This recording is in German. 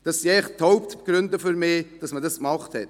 Das sind für mich die Hauptgründe, weshalb man das getan hat.